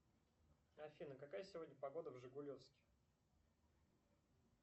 афина какая сегодня погода в жигулевске